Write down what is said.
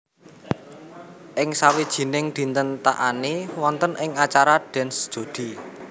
Ing sawijining dinten Taani wonten ing acara Dance Jodi